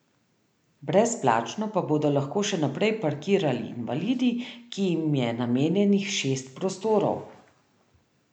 Brezplačno pa bodo lahko še naprej parkirali invalidi, ki jim je namenjenih šest prostorov.